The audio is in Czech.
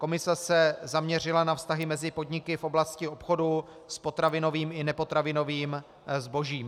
Komise se zaměřila na vztahy mezi podniky v oblasti obchodu s potravinovým i nepotravinovým zbožím.